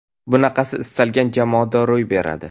Bunaqasi istalgan jamoada ro‘y beradi.